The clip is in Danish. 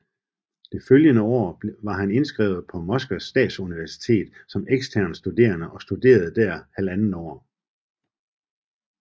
Det følgende år var han indskrevet på Moskvas statsuniversitet som ekstern studerende og studerede der halvandet år